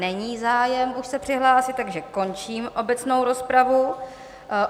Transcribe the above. Není zájem už se přihlásit, takže končím obecnou rozpravu.